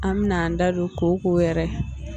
An min'an da don koko yɛrɛ